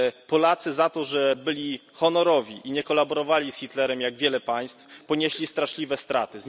Polacy za to, że byli honorowi i nie kolaborowali z Hitlerem, jak wiele państw, ponieśli straszliwe straty.